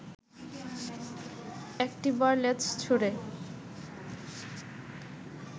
একটি বার লেজ ছুঁড়ে